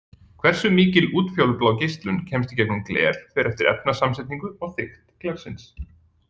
Hversu mikil útfjólublá geislun kemst í gegnum gler fer eftir efnasamsetningu og þykkt glersins.